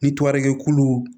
Ni tora kɛkulu